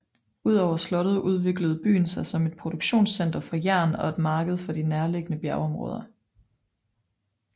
Udover slottet udviklede byen sig som et produktionscenter for jern og et marked for de nærliggende bjergområder